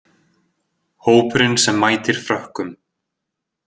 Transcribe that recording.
Hópurinn sem mætir Frökkum